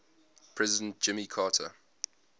president jimmy carter